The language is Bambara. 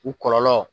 U kɔlɔlɔ